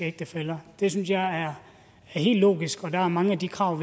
ægtefæller det synes jeg er helt logisk og der er mange af de krav